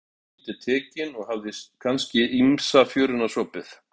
Hún var lagleg en dálítið tekin, hafði kannski ýmsa fjöruna sopið.